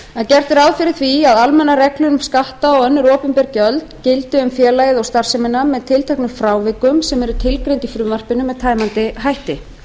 gert er ráð fyrir því að almennar reglur um skatta og önnur opinber gjöld gildi um félagið og starfsemina með tilteknum frávikum sem eru tilgreind í frumvarpinu með tæmandi hætti